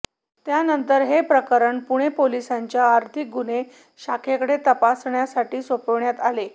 त्यानंतर हे प्रकरण पुणे पोलिसांच्या आर्थिक गुन्हे शाखेकडे तपासासाठी सोपविण्यात आले